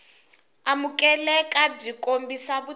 amukeleka byi kombisa vutivi byo